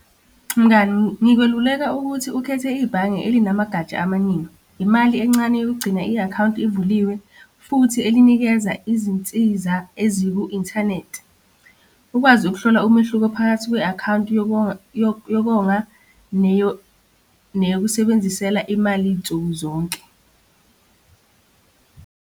Mngani, ngikweluleka ukuthi ukhethe ibhange elinamagatsha amaningi. Imali encane yokugcina i-akhawunti ivuliwe, futhi elinikeza izinsiza eziku-inthanethi. Ukwazi ukuhlola umehluko phakathi kwe-akhawunti yokonga neyokusebenzisela imali nsuku zonke.